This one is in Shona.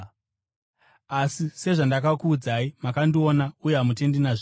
Asi sezvandakakuudzai, makandiona uye hamutendi nazvino.